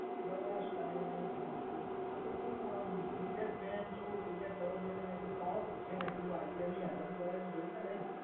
બસ કઈ નહીં શાંતિ. આ તો તું આમ ક્રિકેટ મેચ જો ક્રિકેટ લવર જોઈને મેં કીધું લાવ પૂછીએ મેં કીધું આઈપીએલની હરાજી બરાજી જોઈ કે નહીં.